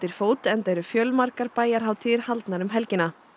fót enda eru fjölmargar bæjarhátíðir haldnar um helgina